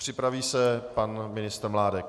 Připraví se pan ministr Mládek.